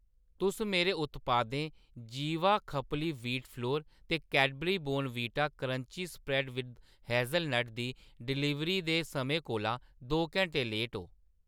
तुस मेरे उत्पादें जीवा खपली वीट फ्लोर ते Cadbury Bournvita crunchy spread hazelnut दी डलीवरी दे समें कोला दो घैंटें लेट ओ।